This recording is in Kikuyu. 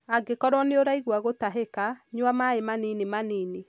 Angĩkorwo nĩuraigua gũtahĩka, nyua maĩ manini manini